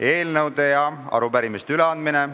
Eelnõude ja arupärimiste üleandmine.